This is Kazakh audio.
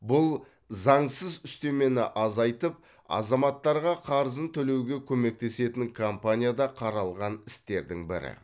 бұл заңсыз үстемені азайтып азаматтарға қарызын төлеуге көмектесетін компанияда қаралған істердің бірі